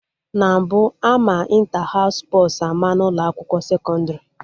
Na mbụ, ama Ịnta haụs spọs ama n'ụlọ akwụkwọ sekọndrị